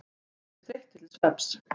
Leggjast þreyttir til svefns.